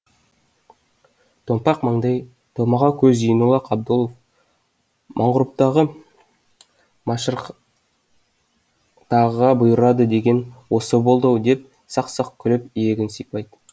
томпақ маңдай томаға көз зейнолла қабдолов мағұрыптағы машырықтағыға бұйырады деген осы болды ау деп сақ сақ күліп иегін сипайды